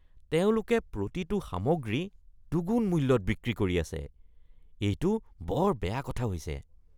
তেওঁলোকে প্ৰতিটো সামগ্ৰী দুগুণ মূল্যত বিক্ৰী কৰি আছে। এইটো বৰ বেয়া কথা হৈছে।